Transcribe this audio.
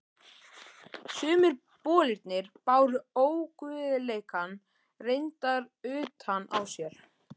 Sumir bolirnir báru óguðleikann reyndar utan á sér.